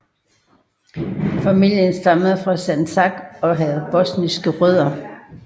Familien stammede fra Sandžak og havde bosniske rødder